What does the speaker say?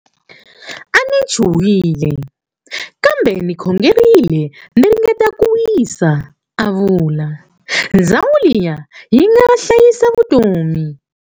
A ni chuwhile, kambe ni khongerile ni ringeta ku wisa, a vula. Ndhawu liya yi nga hlayisa vutomi!